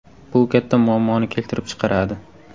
Bu katta muammoni keltirib chiqaradi.